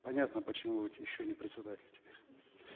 понятно почему вы еще не председатель теперь